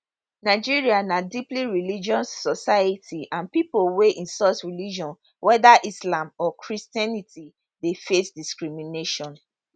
nigeria na deeply religious society and pipo wey insult religion weda islam or christianity dey face discrimination